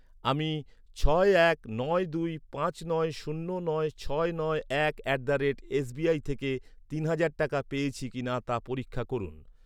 আমি ছয় এক নয় দুই পাঁচ নয় শূন্য নয় ছয় নয় এক at the rate S B I থেকে তিন হাজার টাকা পেয়েছি কিনা তা পরীক্ষা করুন।